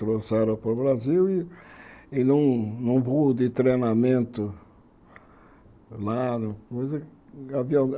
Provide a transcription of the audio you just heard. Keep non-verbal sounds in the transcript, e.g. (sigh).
Trouxeram para o Brasil e e num voo de treinamento, (unintelligible) o avião